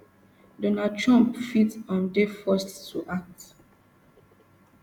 donald trump fit um dey forced to act